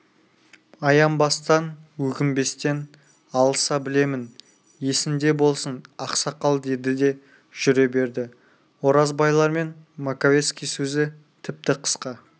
аянбастан өкінбестен алыса білемін есіңде болсын ақсақал деді де жүре берді оразбайлармен маковецкий сөзі тіпті қысқа